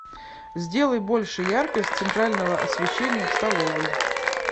сделай больше яркость центрального освещения в столовой